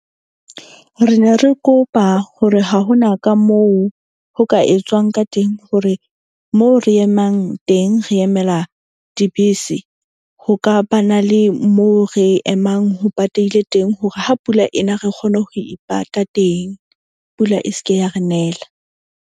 Re ne re kopa hore ha hona ka moo ho ka etswang ka teng, hore moo re emang teng, re emela dibese, ho ka ba na le moo re emang ho pateileng teng. Hore ha pula ena re kgone ho ipata teng, pula e seke ya re nela.